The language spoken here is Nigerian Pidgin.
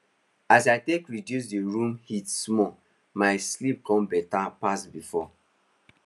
as i take reduce the room heat small my sleep kon better pass before